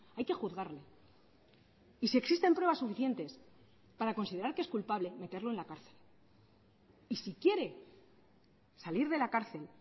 hay que juzgarle y si existen pruebas suficientes para considerar que es culpable meterlo en la cárcel y si quiere salir de la cárcel